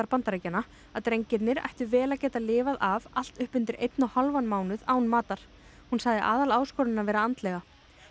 Bandaríkjanna að drengirnir ættu vel að geta lifað af allt upp undir einn og hálfan mánuð án matar hún sagði vera andlega